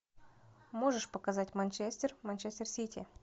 можешь показать манчестер манчестер сити